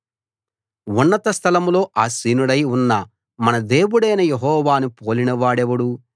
ఉన్నత స్థలంలో ఆసీనుడై ఉన్న మన దేవుడైన యెహోవాను పోలినవాడెవడు